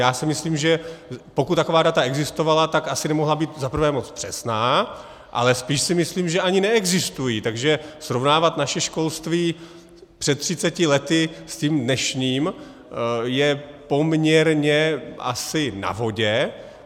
Já si myslím, že pokud taková data existovala, tak asi nemohla být za prvé moc přesná, ale spíš si myslím, že ani neexistují, takže srovnávat naše školství před 30 lety s tím dnešním je poměrně asi na vodě.